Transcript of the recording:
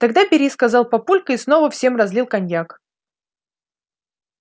тогда бери сказал папулька и снова всем разлил коньяк